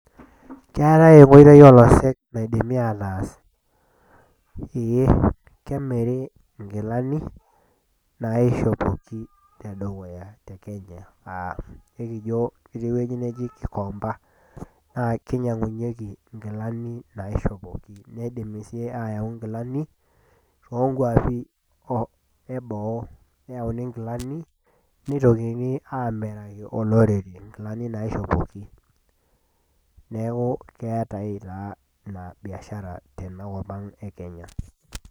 Keatai enkoitoi olosek naidimi ataas, ee kemiri inkilani, naishopoki te dukuya te Kenya, aa ketii ewueji neji Gikomba, naa keinyang'unyeiki inkilani naishopoki, neidimi sii neyauni inkilani, oo nkwapi e boo neyauuni inkilani, neitokini aamiraki olorere inkilani naishopoki. Neaku keatai taa ina biashara tenkop ang' e Kenya.